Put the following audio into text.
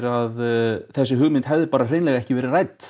að þessi hugmynd hefði ekki verið rædd